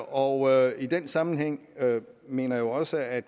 og i den sammenhæng mener jeg også at